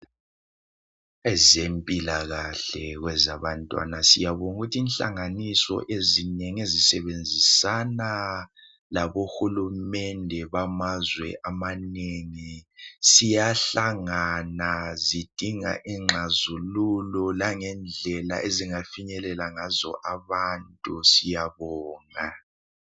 Ezempilakahle kwezabantwana siyabonga inhlanganiso ezinengi ezisebenzisana labohulumende bamazwe amanengi ziyahlangana zidinga izixazululo langendlela ezingafinyelela kuyo ebantwini siyabonga